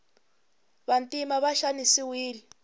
vantima va xanisiwile